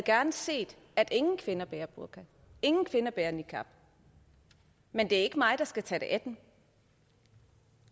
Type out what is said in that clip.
set at ingen kvinder bærer burka ingen kvinder bærer niqab men det er ikke mig der skal tage det af dem